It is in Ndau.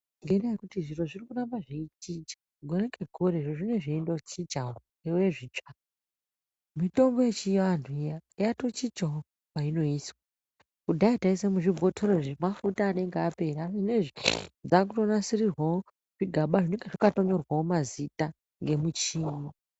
Ngenyaya yekuti zviro zvirikuramba zveichinja gore ngegore zviro zvinenge zveichinjawo zvive zvitsva mitombo yechivantu iya yatochinjawo mainoiswa kudhaya taiisa muzvibhotori zvemafuta anenge apera zvinezvi zvakutonasirirwawo zvigaba zvinenge zvakatonyorwawo mazita ngemuchini.